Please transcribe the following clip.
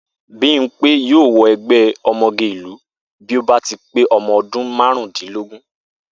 Bímpé yóò wo̩ e̩gbé̩ o̩mo̩ge ìlú bí ó bá ti pé o̩mo̩ o̩dún márùndínlógún